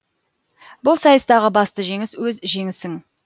бұл сайыстағы басты жеңіс өз жеңісің